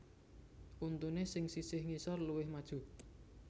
Untuné sing sisih ngisor luwih maju